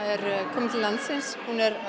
kemur til landsins